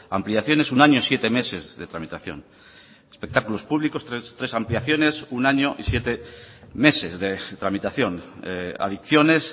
ampliaciones un año siete meses de tramitación espectáculos públicos tres ampliaciones un año y siete meses de tramitación adicciones